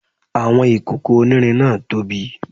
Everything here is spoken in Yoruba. Àwọn ìkòkò onírin náà tóbi